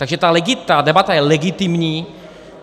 Takže ta debata je legitimní.